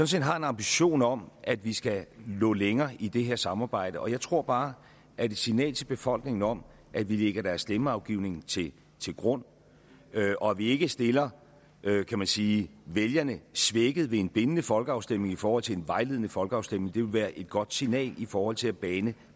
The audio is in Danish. set har en ambition om at vi skal nå længere i det her samarbejde og jeg tror bare at et signal til befolkningen om at vi lægger deres stemmeafgivning til grund og at vi ikke stiller kan man sige vælgerne svækket ved en bindende folkeafstemning i forhold til en vejledende folkeafstemning vil være et godt signal i forhold til at bane